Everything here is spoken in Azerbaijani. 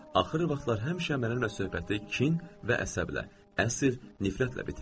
Axır vaxtlar həmişə mənimlə söhbəti kin və əsəblə, əsil nifrətlə bitirirdi.